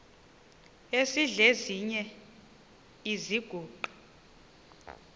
esidl eziny iziguqa